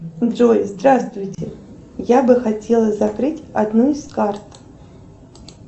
джой здравствуйте я бы хотела закрыть одну из карт